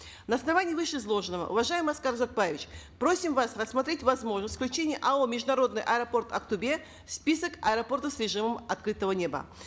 на основании вышеизложенного уважаемый аскар узакбаевич просим вас рассмотреть возможность включения ао международный аэропорт актобе в список аэропортов с режимом открытого неба